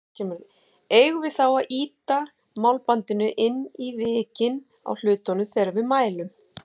Eigum við þá að ýta málbandinu inn í vikin á hlutnum þegar við mælum?